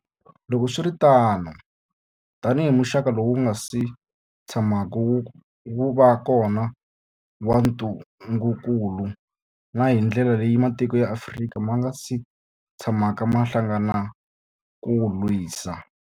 Loko swi ri tano, tanihi muxaka lowu wu nga si tshamaka wu va kona wa ntungukulu, na hi ndlela leyi matiko ya Afrika ma nga si tshamaka ma hlangana ku wu lwisa.